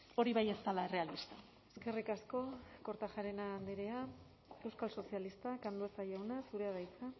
hori bai ez dela errealista eskerrik asko kortajarena andrea euskal sozialistak andueza jauna zurea da hitza